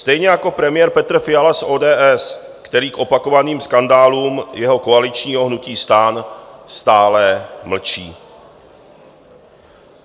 Stejně jako premiér Petr Fiala z ODS, který k opakovaným skandálům jeho koaličního hnutí STAN stále mlčí.